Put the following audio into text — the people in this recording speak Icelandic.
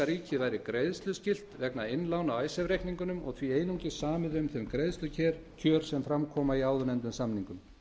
ríkið væri greiðsluskylt vegna innlána á icesave reikningunum og því einungis samið um þau greiðslukjör sem fram koma í áðurnefndum samningum